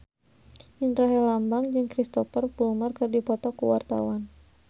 Indra Herlambang jeung Cristhoper Plumer keur dipoto ku wartawan